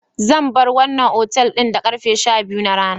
Zan bar wannan otal ɗin da karfe sha-biyu na rana.